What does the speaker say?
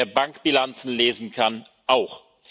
das! Wer Bankbilanzen lesen kann,